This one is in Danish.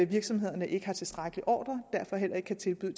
virksomhederne ikke har tilstrækkeligt med ordrer og derfor heller ikke kan tilbyde